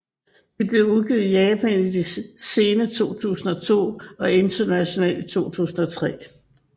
De blev udgivet i Japan i det sene 2002 og internationalt i 2003